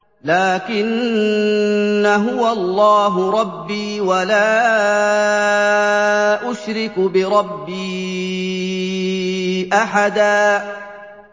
لَّٰكِنَّا هُوَ اللَّهُ رَبِّي وَلَا أُشْرِكُ بِرَبِّي أَحَدًا